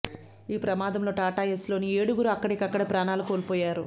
ఈ ప్రమాదంలో టాటా ఏస్లోని ఏడుగురు అక్కడికక్కడే ప్రాణాలు కోల్పోయారు